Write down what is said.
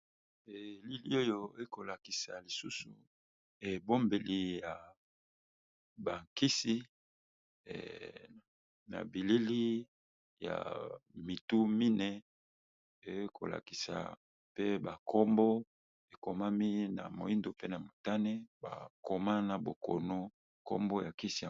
elili oyo ekolakisa lisusu ebombeli ya bakisi na bilili ya mitu mine ekolakisa mpe bankombo ekomami na moindo pe na motane bakoma na bokono nkombo ya kisia